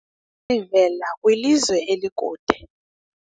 sivela kwilizwe elikude